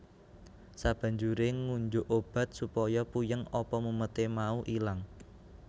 Sabanjure ngunjuk obat supaya puyeng apa mumete mau ilang